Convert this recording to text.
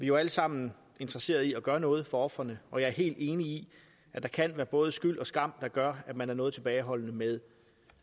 jo alle sammen interesseret i at gøre noget for ofrene og jeg er helt enig i at der kan være både skyld og skam der gør at man er noget tilbageholdende med